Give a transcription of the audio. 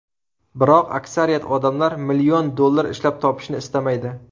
Biroq aksariyat odamlar million dollar ishlab topishni istamaydi.